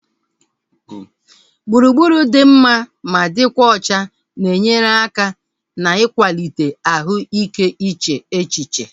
Gburugburu dị mma ma dịkwa ọcha na-enyere aka na-ikwalite ahụ ike iche echiche